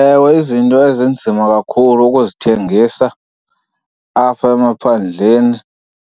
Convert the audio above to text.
Ewe, izinto ezinzima kakhulu ukuzithengisa apha emaphandleni